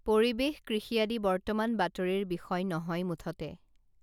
পৰিৱেশ কৃষি আদি বৰ্তমান বাতৰিৰ বিষয় নহয় মুঠতে